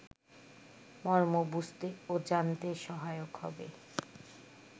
মর্ম বুঝতে ও জানতে সহায়ক হবে